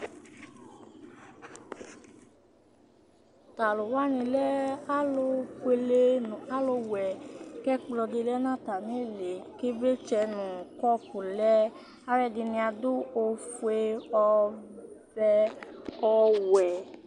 to alowani lɛ alo fuele no alo wɛ k'ɛkplɔ di lɛ no atami ili k'ivlitsɛ no kɔpu k'aloɛdini ado ofue ɔvɛ ɔwɛ